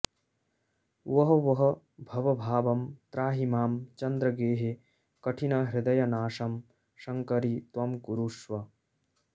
वह वह भवभावं त्राहि मां चन्द्रगेहे कठिनहृदयनाशं शङ्करि त्वं कुरुष्व